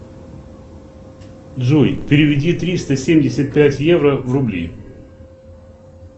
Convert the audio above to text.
джой переведи триста семьдесят пять евро в рубли